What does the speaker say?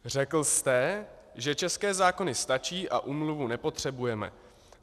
Řekl jste, že české zákony stačí a úmluvu nepotřebujeme.